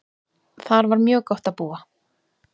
Þar var mjög gott að búa.